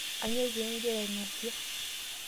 Kanyoo pee igira aing'asie?